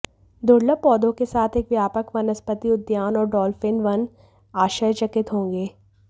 दुर्लभ पौधों के साथ एक व्यापक वनस्पति उद्यान और डॉल्फ़िन वन आश्चर्यचकित होंगे